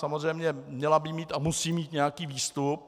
Samozřejmě měla by mít a musí mít nějaký výstup.